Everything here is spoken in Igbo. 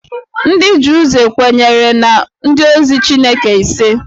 Ndị Druze kwenyere na ndị ozi Chineke ise